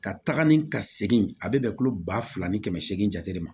Ka taga ni ka segin a bɛ bɛn tulo ba fila ni kɛmɛ seegin jate jate de ma